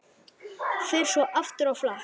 Fer svo aftur á flakk.